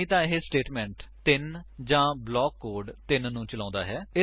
ਨਹੀਂ ਤਾਂ ਇਹ ਸਟੇਟਮੇਂਟ 3 ਜਾਂ ਬਲਾਕ ਕੋਡ 3 ਨੂੰ ਚਲਾਉਂਦਾ ਹੈ